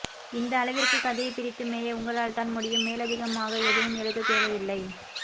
இந்த அளவிற்கு கதையை பிரித்து மேய உங்களால்தான் முடியும் மேலதிகமாக எதையும் எழுத தேவையில்லை